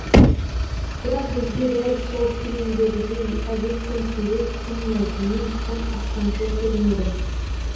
бірақ бізге дәл сол фильмдегідей әдеппен сөйлеу тым мәдени тым астамшыл көрінеді